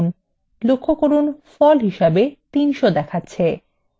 লক্ষ্য করুন ফল হিসাবে 300 দেখাচ্ছে